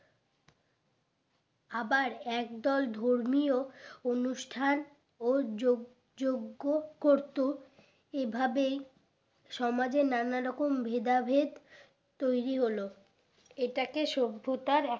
আবার একদল ধর্মীয় অনুষ্ঠান ও যোগ যোগ্য করতো এই ভাবেই সমাজে নানা রকম ভেদা ভেদ তৈরি হলো এটাকে সভ্যতার এক